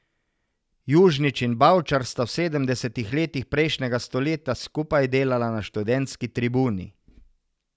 Južnič in Bavčar sta v sedemdesetih letih prejšnjega stoletja skupaj delala na študentski Tribuni.